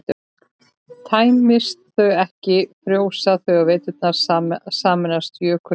tæmist þau ekki frjósa þau á veturna og sameinast jökulísnum